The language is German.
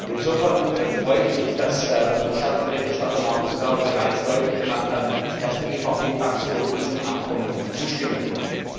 Insofern freue ich mich, dass unser Schattenberichterstatter Markus Ferber bereits deutlich gemacht hat, dass die EVP Fraktion diesem Abkommen zustimmen kann.